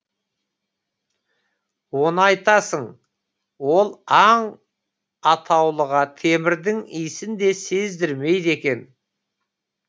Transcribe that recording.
оны айтасың ол аң атаулыға темірдің иісін де сездірмейді екен